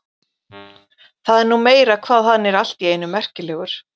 Það er nú meira hvað hann er allt í einu merkilegur.